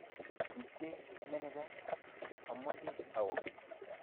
tupche meneja, ameche awo